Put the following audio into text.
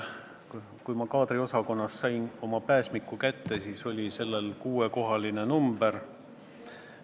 Kui ma kaadriosakonnast sain kätte oma pääsmiku, siis oli sellel kuuekohaline number.